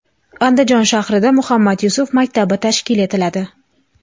Andijon shahrida Muhammad Yusuf maktabi tashkil etiladi.